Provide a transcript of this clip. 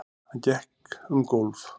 Hann gekk um gólf.